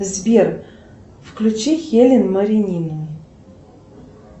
сбер включи хелен маринину